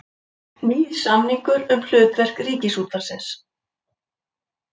Nýr samningur um hlutverk Ríkisútvarpsins